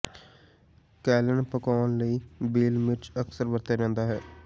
ਕੈਲਨ ਪਕਾਉਣ ਲਈ ਬੇਲ ਮਿਰਚ ਅਕਸਰ ਵਰਤਿਆ ਜਾਂਦਾ ਹੈ